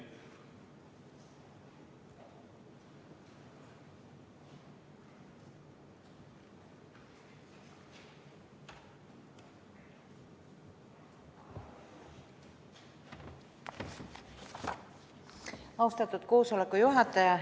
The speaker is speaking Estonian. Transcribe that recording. Austatud koosoleku juhataja!